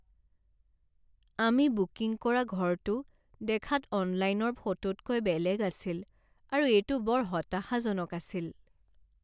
আমি বুকিং কৰা ঘৰটো দেখাত অনলাইনৰ ফটোতকৈ বেলেগ আছিল আৰু এইটো বৰ হতাশাজনক আছিল।